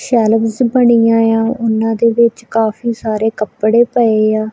Shelf ਬਣੀ ਆ ਉਹਨਾਂ ਦੇ ਵਿੱਚ ਕਾਫੀ ਸਾਰੇ ਕੱਪੜੇ ਪਏ ਆ।